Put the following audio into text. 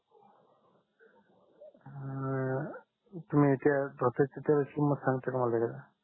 हम्म तुम्ही त्या धोत्राचा तेलाची किमत सांगता का मला जरा